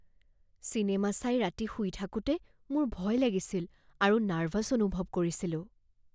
Cinema চাই ৰাতি শুই থাকোঁতে মোৰ ভয় লাগিছিল আৰু নাৰ্ভাছ অনুভৱ কৰিছিলোঁ।